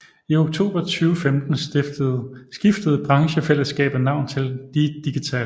I oktober 2015 skiftede branchefællesskabet navn til DI Digital